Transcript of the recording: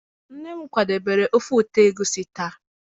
nne m kwadebere ofe ụtọ egusi taa.